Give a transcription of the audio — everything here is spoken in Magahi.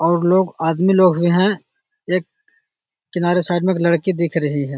और लोग आदमी लोग भी हैं एक किनारे साइड मे एक लड़की दिख रही है |